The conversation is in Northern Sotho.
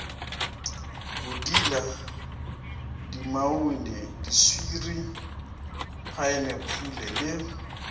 bodila dinamune diswiri phaenapole le